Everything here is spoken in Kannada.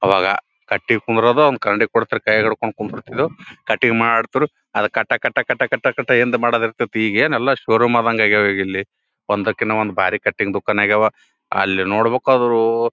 ಅವಾಗ ಕಟಿಂಗ್ ಕುಂದ್ರೊದು ಒಂದು ಕನ್ನಡಿ ಕೋಡ್ತಿರು ಕೈಯಾಗ್ ಹಿಡ್ಕೊಂಡ್ ಕುಂದರತಿದೆವ ಕಟಿಂಗ್ ಮಾಡ್ತ್ರ್ ಅದ್ ಕಟ ಕಟ ಕಟ ಕಟ ಕಟ ಎನ್ರೆ ಮಾಡದಿರ್ತತು ಈಗ ಎನ ಎಲ್ಲ ಷೋರೂಮ್ ಆದಂಗ್ ಆಗ್ಯಾವ ಇಲ್ಲಿ ಒಂದಕ್ಕೊಂದು ಬಹಳ ಕಟಿಂಗ್ ದುಕಾನ್ ಆಗ್ಯಾವ ಅಲ್ಲಿ ನೋಡಬೇಕಾದ್ರು --